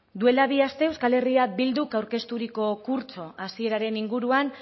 duela bi aste euskal herria bilduk aurkezturiko kurtso hasieraren inguruan